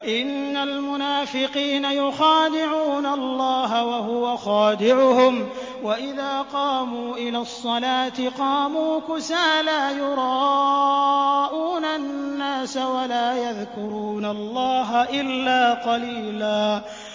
إِنَّ الْمُنَافِقِينَ يُخَادِعُونَ اللَّهَ وَهُوَ خَادِعُهُمْ وَإِذَا قَامُوا إِلَى الصَّلَاةِ قَامُوا كُسَالَىٰ يُرَاءُونَ النَّاسَ وَلَا يَذْكُرُونَ اللَّهَ إِلَّا قَلِيلًا